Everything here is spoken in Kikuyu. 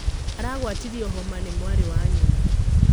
Aragwatirio homa nĩmwarĩwa nyina.